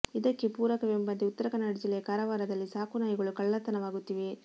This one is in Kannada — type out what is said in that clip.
ಇದಕ್ಕೆ ಪೂರಕವೆಂಬಂತೆ ಉತ್ತರ ಕನ್ನಡ ಜಿಲ್ಲೆಯ ಕಾರವಾರದಲ್ಲಿ ಸಾಕು ನಾಯಿಗಳು ಕಳ್ಳತನವಾಗುತ್ತಿವೆ